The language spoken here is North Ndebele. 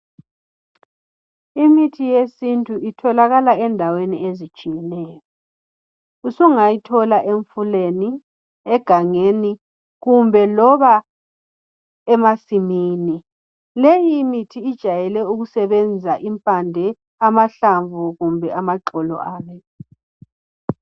Imithi yesintu itholakala endaweni ezitshiyeneyo .Usungayithola emfuleni, egangeni kumbe loba emasimini .Leyi imithi ijayele ukusebenza impande , amahlamvu kumbe amaxolo ayo.